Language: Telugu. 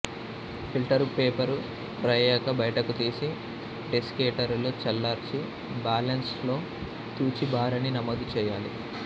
ఫిల్టరు పేపరు డ్రై అయ్యాక బయటకు తీసి డెసికెటరులో చల్లార్చి బాలెన్స్ లో తూచి భారాన్ని నమోదు చెయ్యాలి